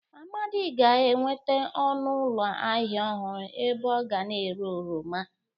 Amadị ga-enweta ọnụ ụlọ ahịa ọhụrụ ebe ọ ga na-ere oroma.